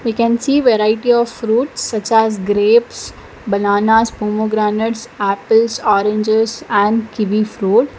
we can see variety of fruits such as grapes bananas pomegranate apples oranges and kiwi fruits.